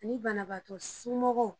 Nin banabaatɔ somɔgɔw